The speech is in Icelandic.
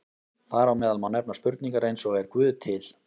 Þar á meðal má nefna spurningar eins og Er Guð til?